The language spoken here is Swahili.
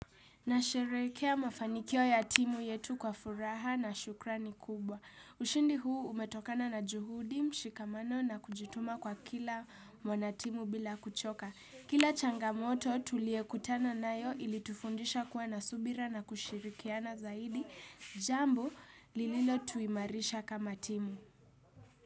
Na sherehekea mafanikio ya timu yetu kwa furaha na shukrani kubwa. Ushindi huu umetokana na juhudi mshikamano na kujituma kwa kila mwanatimu bila kuchoka. Kila changamoto tuliekutana nayo ilitufundisha kuwa nasubira na kushirikiana zaidi jambo lililo tuimarisha kama timu.